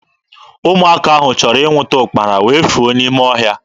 Ụmụaka ahụ chọrọ ịnwụta ụkpara wee fuo n'ime ọhịa.